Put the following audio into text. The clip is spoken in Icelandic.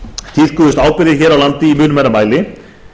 tíðkuðust ábyrgðir hér á landi í mun meira mæli